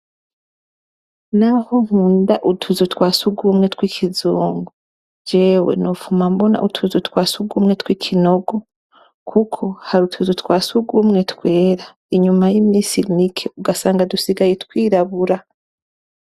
Naho nkunda utuzu twasugumwe tw'ikizungu, jewe nopfuma mbona utuzu twasugumwe tw'ikinogo. Kuko hari utuzu twasugumwe twera inyuma y'imisi mike, ugasanga dusigaye twirabura.